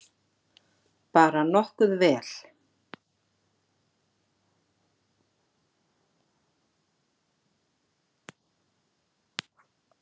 Bara nokkuð vel.